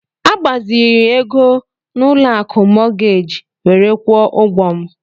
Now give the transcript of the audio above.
Agbaziri ego n'ụlọ akụ mọọgeeji were kwụọ ụgwọ m.